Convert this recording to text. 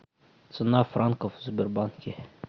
цена франков в сбербанке